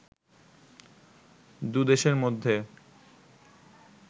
দু’দেশের মধ্যে